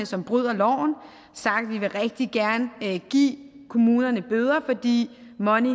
som bryder loven og at vi rigtig gerne vil give kommunerne bøder fordi money